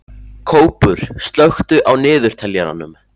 Kópur, slökktu á niðurteljaranum.